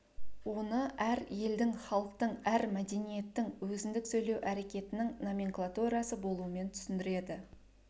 оны әр елдің халықтың әр мәдениеттің өзіндік сөйлеу әрекетінің номенклатурасы болуымен түсіндіреді